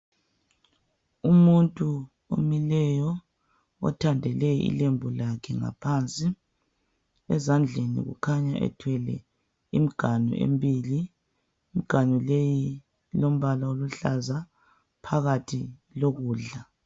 Umuntu omileyo othandele ilembu lakhe ngaphansi. Ezandleni ukhanya ethwele imiganu embili, imiganu leyi ilombala oluhlaza phakathi ilokudla.